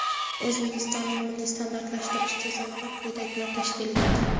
O‘zbekistonning milliy standartlashtirish tizimini quyidagilar tashkil etadi:.